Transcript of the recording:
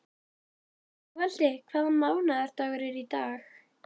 Sigvaldi, hvaða mánaðardagur er í dag?